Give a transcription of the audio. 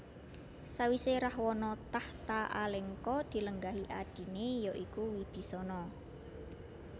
Sawisé Rahwana takhta Alengka dilenggahi adiné ya iku Wibisana